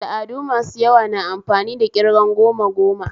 Al'adu masu yawa na amfani da ƙirgan goma goma